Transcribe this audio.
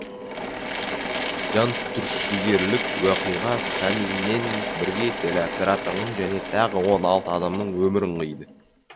жантүршігерлік оқиға самиммен бірге телеоператордың және тағы он алты адамның өмірін қиды